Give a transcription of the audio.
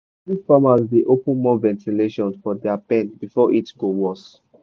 poultry farmers dey open more ventilation for dia pen before heat go worse.